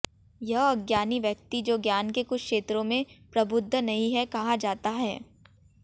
यह अज्ञानी व्यक्ति जो ज्ञान के कुछ क्षेत्रों में प्रबुद्ध नहीं है कहा जाता है